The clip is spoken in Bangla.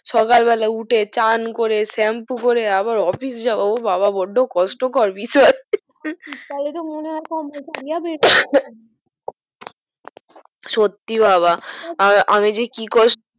সকাল বেলায় উঠে চান করে shampoo করে আবার office যাওয়া বড্ডো কষ্ট কর শীত কালে তো মনে হয় আপা সত্যি বাবা আহ আমি যে কি কষ্টে